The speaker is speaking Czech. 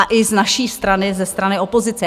A i z naší strany, ze strany opozice.